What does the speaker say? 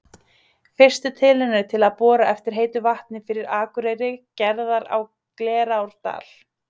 Fyrstu tilraunir til að bora eftir heitu vatni fyrir Akureyri gerðar á Glerárdal.